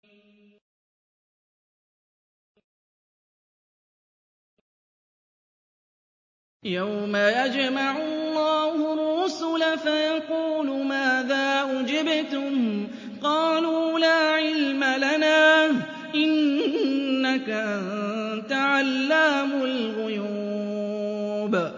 ۞ يَوْمَ يَجْمَعُ اللَّهُ الرُّسُلَ فَيَقُولُ مَاذَا أُجِبْتُمْ ۖ قَالُوا لَا عِلْمَ لَنَا ۖ إِنَّكَ أَنتَ عَلَّامُ الْغُيُوبِ